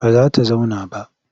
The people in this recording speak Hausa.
Ba za ta zauna ba.